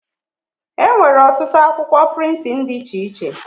Enwere ọtụtụ akwụkwọ prịntịn dị iche iche